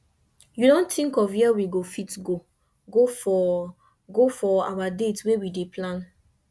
you don think of where we go fit go for go for our date wey we dey plan